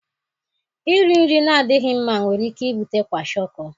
Iri nri na-adịghị mma nwere ike ibute kwashiorkor.